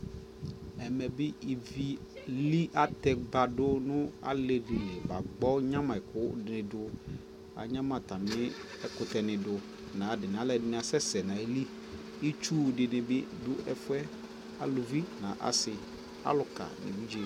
ɛmɛ bi ivi li atɛ badʋ nʋ ali dili ba kpɔ nyama ɛkʋ dini dʋ, anyama atami ɛkʋtɛ nidʋ nʋ ayi adini, alʋɛdini asɛsɛ nʋ ayili, itsʋ dini bi dʋ ɛƒʋɛ, alʋvi nʋ asii, alʋka nʋ ɛvidzɛ